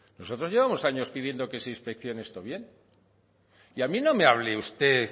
nosotros llevamos años pidiendo que se inspección esto bien y a mí no me hable usted